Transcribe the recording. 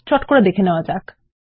চট করে দেখে নেওয়া যাক